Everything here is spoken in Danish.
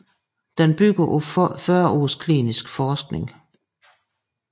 Den bygger på 40 års klinisk forskning